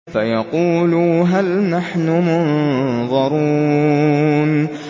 فَيَقُولُوا هَلْ نَحْنُ مُنظَرُونَ